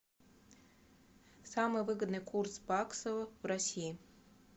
самый выгодный курс баксов в россии